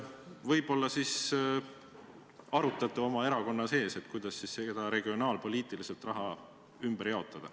Võib-olla arutate oma erakonna sees, kuidas regionaalpoliitiliselt raha ümber jaotada.